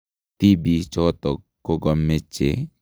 Tibiichotok kogomeche koturur moet moet chegikosiir wikishek tuptem